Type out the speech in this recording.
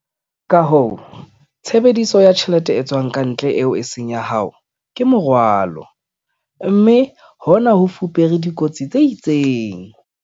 Ka hoo, tshebediso ya tjhelete e tswang ka ntle, eo e seng ya hao, ke morwalo, mme hona ho fupere dikotsi tse itseng.